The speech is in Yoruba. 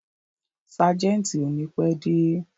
Ságẹ̀ntì ò ní pẹ́ dé.